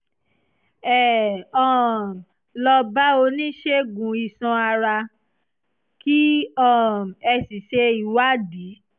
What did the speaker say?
ẹ um lọ bá oníṣègùn iṣan ara kí um ẹ sì ṣe ìwádìí